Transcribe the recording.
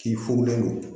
K'i furulen don